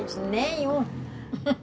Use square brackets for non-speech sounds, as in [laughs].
Eu disse, nenhum [laughs]